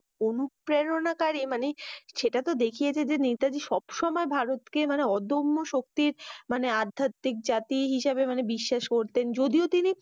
অনুপ্রেরণা কারী মানি সেটাতো দেখিয়েছে যে, নেতাজী সবসময় ভারতকে মানি অধ্যম্য শক্তির মানি আদ্যতিক জাতি হিসাবে বিশ্বাস করতেন। যদিও তিনি